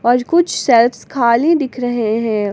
और कुछ शेल्व्स खाली दिख रहे हैं।